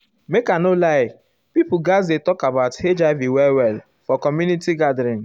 make i no lie people gatz dey talk about hiv well well for community gathering.